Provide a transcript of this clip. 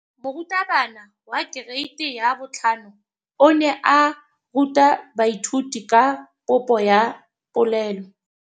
Moratabana wa kereiti ya 5 o ne a ruta baithuti ka popô ya polelô.